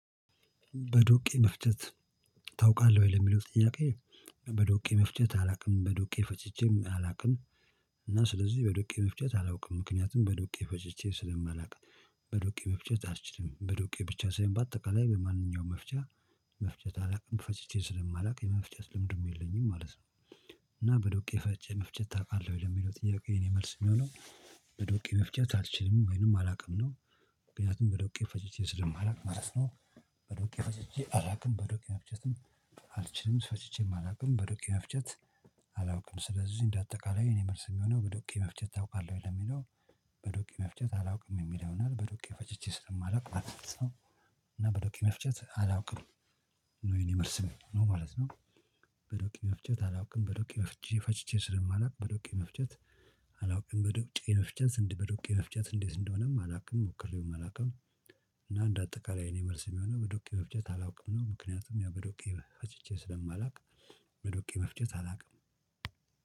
በዶቄ መፍጀት ታውቃለህ ወይ ለሚለው ጥያቄ? በዶቄ መፍጀት አላውቅም በዶቄ ፈጅቼም አላውቅም። እና ስለዚህ በዶቄ መፍጨት አላውቅም ምክንያቱም በዶቄ ፈጅቼ ስለማላውቅ። በዶቄ መፍጨት አልችልም በዶቄ ብቻ ሳይሆን በአጠቃላይ በማንኛውም መፍጫ መፍጨት አላውቅም ፈጭቼ ስለማላውቅ የመፍጨት ልምዱም የለኝም ማለት ነው። እና በዶቄ መፍጨት ታውቃለህ ወይ ለሚለው ጥያቄ የእኔ መልስ እሚሆነው። በዶቄ መፍጨት አልችልም ወይንም አላውቅም ነው። ምክንያቱም በዶቄ ፈጭቼ ስለማላውቅ ማለት ነው። በዶቄ ፈጭቼ አላውቅም በዶቄ መፍጨትም። አልችልም ፈጭቼም አላውቅም በዶቄ መፍጨት። አላውቅም ስለዚህ እንደ አጠቃላይ የእኔ መልስ እሚሆነው በዶቄ መፍጨት ታውቃለህ ወይ ለሚለው? በዶቄ መፍጨት አላውቅም የሚል ይሆናል በዶቄ ፈጭቼ ስለማላውቅ ማለት ነው። እና በዶቄ መፍጨት አላውቅም። ነው የእኔ መልስ ነው ማለት ነው። በዶቄ መፍጨት አላውቅም በዶቄ መፍጨት ፈጭቼ ስለማላውቅ በዶቄ መፍጨት። አላውቅም በዶቄ መፍጨት በዶቄ መፍጨት እንዴት እንደሆነም አላውቅም ሞክሬውም አላውቅም። እና እንደ አጠቃላይ እኔ መልስ እሚሆነው በዶቄ መፍጨት አላውቅም ነው ምክንያቱም ያው በዶቄ ፈጭቼ ስለማላውቅ። በዶቄ መፍጨት አላውቅም።